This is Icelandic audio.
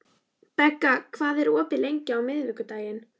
Begga, hvað er opið lengi á miðvikudaginn?